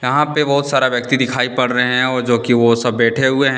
यहां पे बहोत सारा व्यक्ति दिखाई पड़ रहे हैं और जो कि वो सब बैठे हुए हैं।